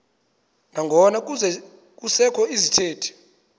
nangona kusekho izithethi